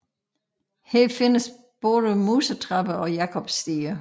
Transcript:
Her findes både musetrapper og jakobsstiger